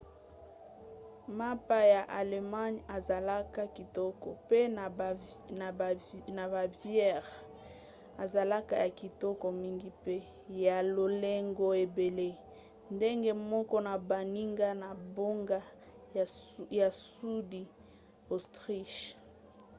mapa ya allemagne ezalaka kitoko mpe na bavière ezalaka ya kitoko mingi mpe ya lolenge ebele ndenge moko na baninga na bango ya sudi autriche